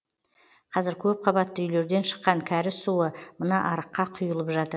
қазір көпқабатты үйлерден шыққан кәріз суы мына арыққа құйылып жатыр